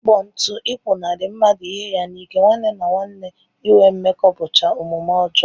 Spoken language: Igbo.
Ịkpọ ntụ, ịpụnarị mmadụ ihe ya n'ike, nwanne na nwanne inwe mmekọ bụcha omume ọjọọ